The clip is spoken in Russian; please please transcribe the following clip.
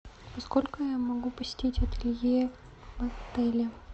во сколько я могу посетить ателье в отеле